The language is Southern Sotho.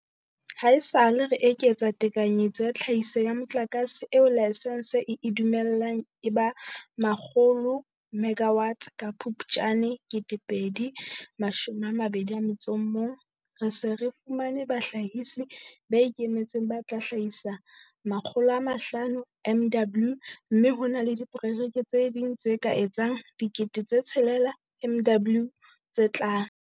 Haesale re eketsa tekanyetso ya tlhahiso ya motlakase eo laesense e e dumellang e ba 100 megawatts ka Phuptjane 2021, re se re fumane bahlahisi ba ikemetseng ba tla hlahisa 500 MW mme ho na le diprojeke tse ding tse ka etsang 6 000 MW tse tlang.